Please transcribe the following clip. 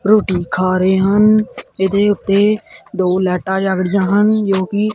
ਰੋਟੀ ਖਾ ਰਹੇ ਹਨ ਇਹਦੇ ਉੱਤੇ ਦੋ ਲੈਟਾਂ ਜੱਗ ੜਹੀਆਂ ਹਨ ਜੋ ਕਿ--